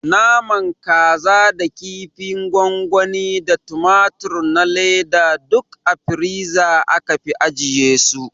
Naman kasa da kinfin gwangwani da tumatur na leda duk a firiza aka fi ajiye su